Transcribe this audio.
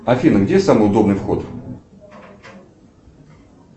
афина где самый удобный вход